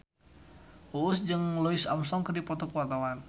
Uus jeung Louis Armstrong keur dipoto ku wartawan